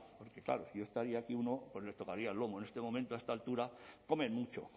porque claro yo estaría aquí uno pues nos tocaría el lomo en este momento a esta altura comen mucho